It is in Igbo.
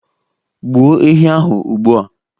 Gbuo ehi ahụ ugbu a!